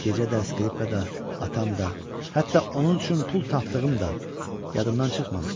Gecə də, skripka da, atam da, hətta onun üçün pul tapdığım da yadımdan çıxmamışdı.